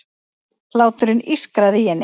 Hláturinn ískraði í henni.